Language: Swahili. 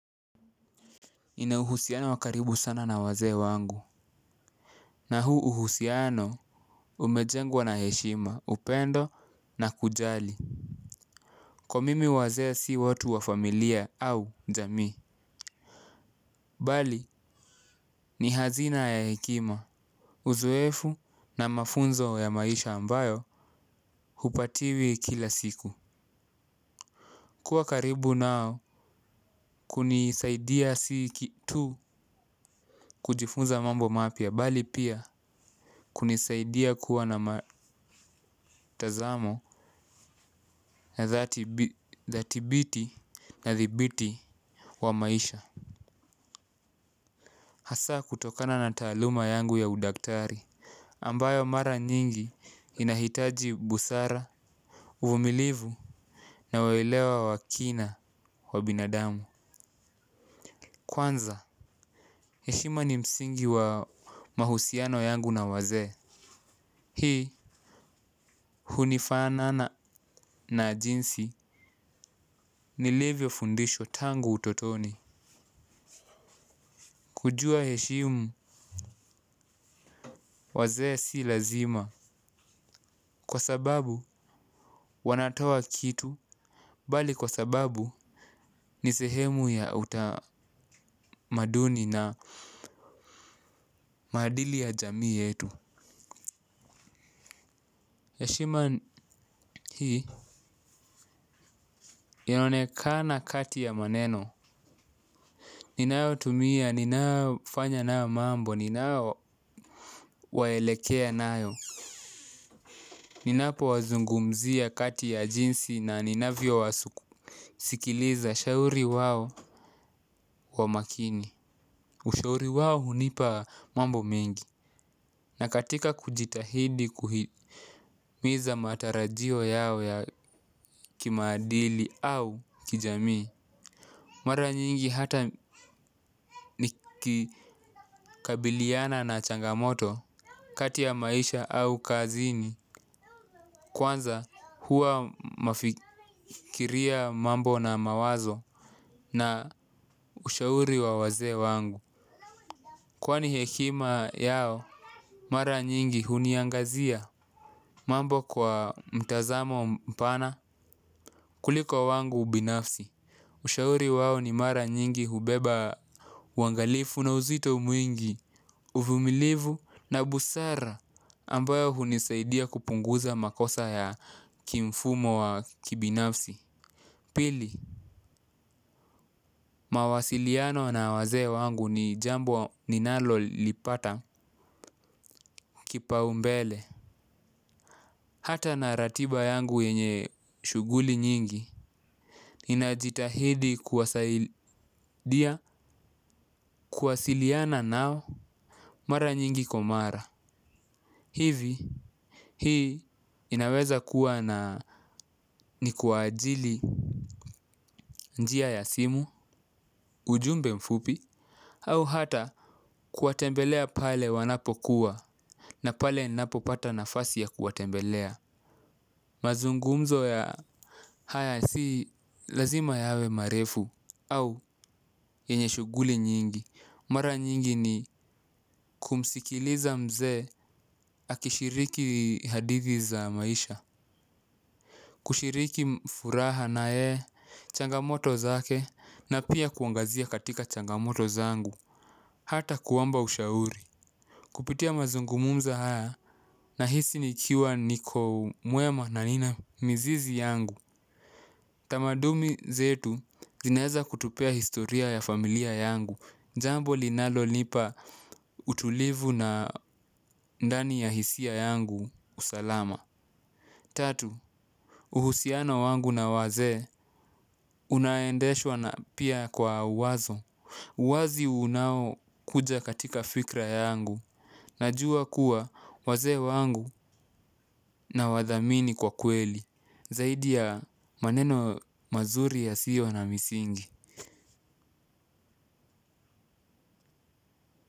Nina uhusiano wakaribu sana na wazee wangu. Na huu uhusiano umejengwa na heshima upendo na kujali. Kwa mimi wazee si watu wa familia au jamii. Bali ni hazina ya hekima. Uzoefu na mafunzo ya maisha ambayo hupatiwi kila siku. Kuwa karibu nao kunisaidia si tu kujifunza mambo mapya bali pia kunisaidia kuwa na matazamo ya thatibiti ya thibiti wa maisha hasa kutokana na taluma yangu ya udaktari ambayo mara nyingi inahitaji busara, uvumilivu na welewa wakina wa binadamu kwanza, heshima ni msingi wa mahusiano yangu na wazee hii hunifanana na jinsi ni livyo fundishwa tangu utotoni. Kujua heshimu wazee si lazima kwa sababu wanatoa kitu. Bali kwa sababu ni sehemu ya utamaduni na maadili ya jamii yetu heshima hii inaonekana kati ya maneno. Ninayo tumia, ninafanya na mambo, ninayo waelekea nayo. Ninapo wazungumzia kati ya jinsi na ninavyo wasikiliza shauri wao kwa makini. Ushauri wao hunipa mambo mengi na katika kujitahidi kuhitimiza matarajio yao ya kimaadili au kijami. Mara nyingi hata nikikabiliana na changamoto kati ya maisha au kazini. Kwanza huwa mafikiria mambo na mawazo na ushauri wa wazee wangu. Kwani hekima yao mara nyingi huniangazia mambo kwa mtazamo mpana kuliko wangu ubinafsi. Ushauri wao ni mara nyingi hubeba waangalifu na uzito mwingi uvumilivu na busara ambayo hunisaidia kupunguza makosa ya kimfumo wa kibinafsi. Pili mawasiliano na wazee wangu ni jambo ninalo lipata kipaumbele. Hata na ratiba yangu yenye shughuli nyingi. Inajitahidi kuwasaidia kuwasiliana nao mara nyingi kwa mara. Hivi hii inaweza kuwa na ni kwa ajili njia ya simu ujumbe mfupi. Au hata kuwatembelea pale wanapo kuwa na pale ninapo pata nafasi ya kuwatembelea. Mazungumzo ya haya si lazima yawe marefu au yenye shughuli nyingi mara nyingi ni kumsikiliza mzee akishiriki hadithi za maisha. Kushiriki furaha na yeye changamoto zake na pia kuangazia katika changamoto zangu. Hata kuomba ushauri kupitia mazungumzo haya nahisi nikiwa niko mwema na nina mizizi yangu. Tamadumi zetu zinaeza kutupea historia ya familia yangu. Jambo linalo nipa utulivu na ndani ya hisia yangu usalama. Tatu, uhusiana wangu na wazee unaendeshwa na pia kwa wazo. Wazi unao kuja katika fikra yangu. Najua kuwa wazee wangu na wadhamini kwa kweli. Zaidi ya maneno mazuri yasiyo na misingi.